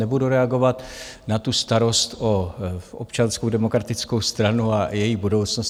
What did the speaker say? Nebudu reagovat na tu starost o Občanskou demokratickou stranu a její budoucnost.